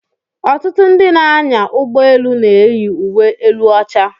Ọtụtụ ndị na-anya ụgbọ elu na-eyi uwe elu ọcha.